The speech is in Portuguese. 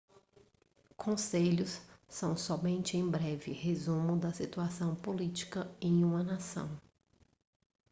conselhos são somente um breve resumo da situação política em uma nação